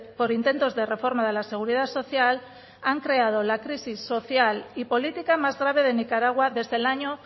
por intentos de reforma de la seguridad social han creado la crisis social y política más grave de nicaragua desde el año